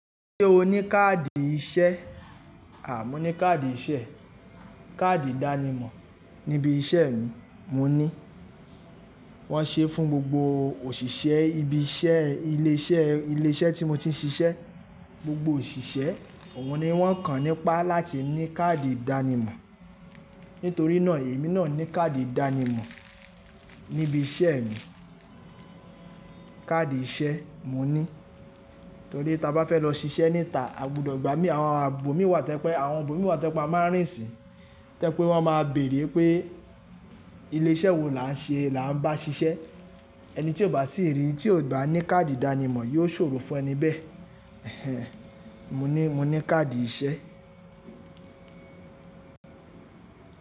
Ṣé o ní káàdì iṣẹ́? À, mo ní káàdì iṣẹ́. Káàdì ìdánimọ̀ níbi iṣẹ́ mi, mo ní. Wọ́n ṣe fún gbogbo òṣìṣẹ́ ibi iṣẹ́ ilé iṣẹ́ tí mo ti ń ṣiṣẹ́. Gbogbo òṣìṣẹ́, òun ni wọ́n kàn nípa láti ní káàdì ìdánimọ̀. Nítorí náà èmi náà ní káàdì ìdánimọ̀ níbi iṣẹ́ mi. Káàdì iṣẹ́ mo ní. Torí ta bá fẹ́ lọ ṣiṣẹ́ níta, a gbọdọ̀ igbá mí, àwọn ààbò mi wà tẹo jepe, àwọn ibò mi wà tó jẹ́pé a máa ń rìn si, tó jẹ́pé wọ́n máa bèèrè pé ilé iṣẹ́ wo là ń ṣe, là ń bá ṣiṣẹ́. Ẹni tí ò bá sì rí, tí ò ba ní káàdì ìdánimọ̀ yóò ṣòro fún ẹni bẹ́ẹ̀. Ẹ̀hẹn. Mo ní, mo ní káàdì iṣẹ́.